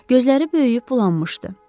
Gözləri böyüyüb bulanmışdı.